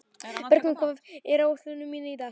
Bergrún, hvað er á áætluninni minni í dag?